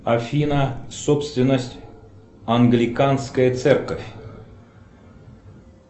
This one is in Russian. афина собственность англиканская церковь